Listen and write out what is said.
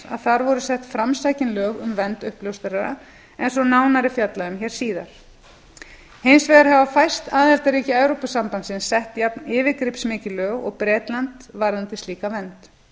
að þar voru sett framsækin lög um vernd uppljóstrara eins og nánar er fjallað um hér síðar hins vegar hafi fæst aðildarríki evrópusambandsins sett jafn yfirgripsmikil lög og bretland varðandi slíka vernd